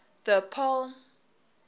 the apollo